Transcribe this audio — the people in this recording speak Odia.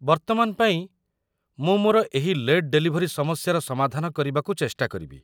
ବର୍ତ୍ତମାନ ପାଇଁ, ମୁଁ ମୋର ଏହି ଲେଟ୍ ଡେଲିଭରୀ ସମସ୍ୟାର ସମାଧାନ କରିବାକୁ ଚେଷ୍ଟା କରିବି।